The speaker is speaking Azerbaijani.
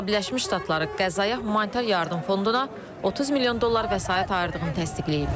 Amerika Birləşmiş Ştatları Qəzzaya humanitar yardım fonduna 30 milyon dollar vəsait ayırdığını təsdiqləyib.